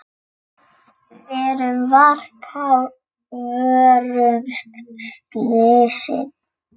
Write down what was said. Verum varkár, vörumst slysin.